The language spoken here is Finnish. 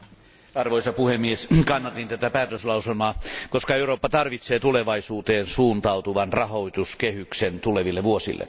Arvoisa puhemies, kannatin tätä päätöslauselmaa, koska Eurooppa tarvitsee tulevaisuuteen suuntautuvan rahoituskehyksen tuleville vuosille.